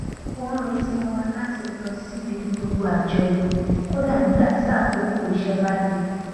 wọn n retí wọn láti lọ síbi gbogbo àjọyọ kódà nígbà tí àkókò iṣẹ bá le